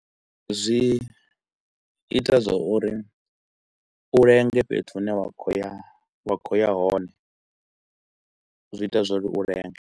Zwi ita zwa uri u lenge fhethu hune wa kho u ya wa kho u ya hone zwi ita zwa uri u lenge.